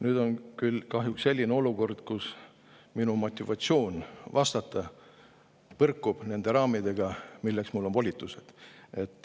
Nüüd on küll kahjuks selline olukord, kus minu motivatsioon vastata põrkub nende raamidega, milleks mulle on antud volitused.